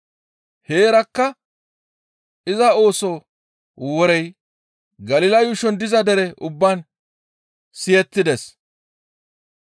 Heerakka iza ooso worey Galila yuushon diza dere ubbaan siyettides.